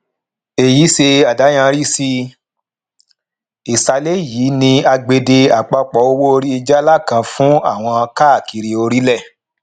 èyí ṣe àdàyanrí sí ìsàlè yìí ni àgbède àpapọ owó orí jaala kan fún àwọn káàkiri orílẹ